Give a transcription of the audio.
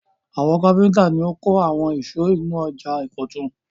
Àwọn kápẹ́ńtà ni ó kọ́ àwọn ìsọ̀ inú ọjà ìkọ̀tún.